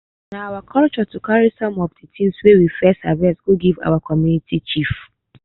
na our culture to carry some of de things wey we first harvest go give our community chief